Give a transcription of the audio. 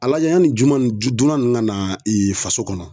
A lajɛ yanni juma dunna ninnu ka na faso kɔnɔ.